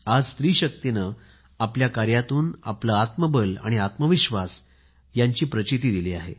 आज आपल्या स्त्री शक्तीने आपल्या कार्यातून आपले आत्मबल आणि आत्मविश्वास यांची प्रचिती दिली आहे